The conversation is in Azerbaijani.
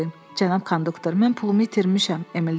Cənab konduktor, mən pulumu itirmişəm, Emil dedi.